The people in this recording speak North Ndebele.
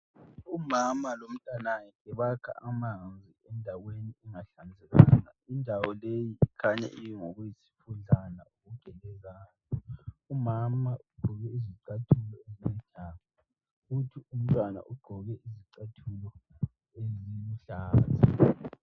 Umama lomntanakhe bakha amanzi endaweni engahlanzekanga indawo leyi ikhanya ingokuyisifudlana okugelezayo, umama ugqoke izicathulo ezintsha futhi umntwana ugqoke izicathulo eziluhlaza.